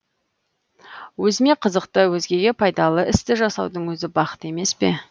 өзіме қызықты өзгеге пайдалы істі жасаудың өзі бақыт емес пе